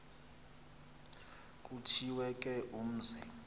kuthiwe ke umzi